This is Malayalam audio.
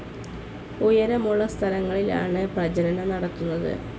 ഉയരമുള്ള സ്ഥലങ്ങളിലാണ് പ്രജനനം നടത്തുന്നത്.